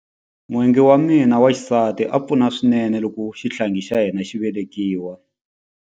N'wingi wa mina wa xisati a pfuna swinene loko xihlangi xa hina xi velekiwa.